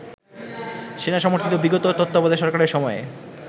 সেনাসমর্থিত বিগত তত্ত্বাবধায়ক সরকারের সময়ে